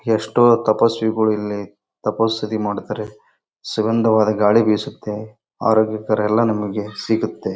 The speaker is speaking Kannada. ಎಷ್ಟೋ ತಪಸ್ವಿಗಳು ಇಲ್ಲಿ ತಪಸ್ಸು ಸ್ತುತಿ ಮಾಡ್ತಾರೆ. ಸುಗಂಧವಾದ ಗಾಳಿ ಬೀಸುತ್ತೆ ಆರೋಗ್ಯಕರ ಎಲ್ಲಾ ನಮಗೆ ಸಿಗುತ್ತೆ.